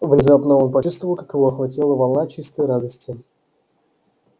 внезапно он почувствовал как его охватила волна чистой радости